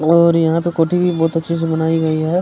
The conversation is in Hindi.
और यहाँ पे कोटी भी बहुत अच्छे से बनाई गई है --